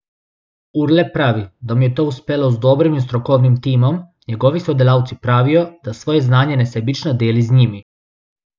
Urlep pravi, da mu je to uspelo z dobrim in strokovnim timom, njegovi sodelavci pravijo, da svoje znanje nesebično deli z njimi.